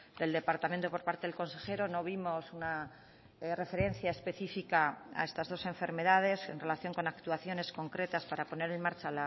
del departamento por parte del consejero no vimos una referencia específica a estas dos enfermedades en relación con actuaciones concretas para poner en marcha a